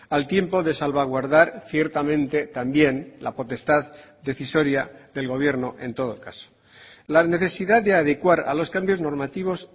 al tiempo de salvaguardar ciertamente también la potestad decisoria del gobierno en todo caso la necesidad de adecuar a los cambios normativos